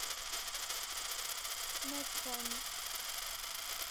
мэдкон